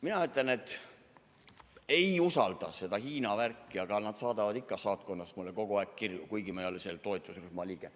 Mina ütlen, et ma ei usalda seda Hiina värki, aga nad saadavad ikka saatkonnast mulle kogu aeg kirju, kuigi ma ei ole selle toetusrühma liige.